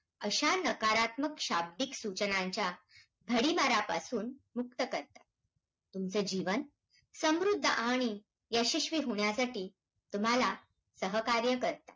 अशा नकारत्मक शाब्दिक सूचनांच्या, भडिमारापासून मुक्त करतात. तुमचे जीवन समृद्ध आणि यशस्वी होण्यासाठी तुम्हाला सहकार्य करता.